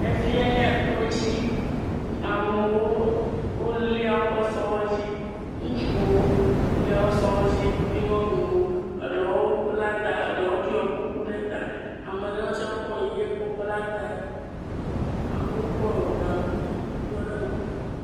efia nye tó dzi amewo wolia woƒe sɔ̃wo dzi ŋutsuwo wolia wóƒe sɔwo dzi kpli nyɔnuwo ɖewo bla ta ɖewo ɖo kuku ɖe ta ameɖewo tsɛ kɔ nuyɛ kɔ bla tae amowo kɔ gaŋkui ɖɔ ɖe ŋku